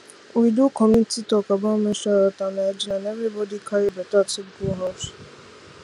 we do community talk about menstrual health and hygiene and everybody carry better tip go house